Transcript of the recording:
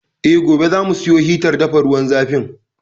Eh, gobe za mu siyo hitar dafa ruwan zafin.